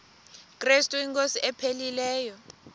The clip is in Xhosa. krestu inkosi ephilileyo